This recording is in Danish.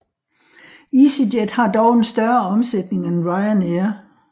EasyJet har dog en større omsætning end Ryanair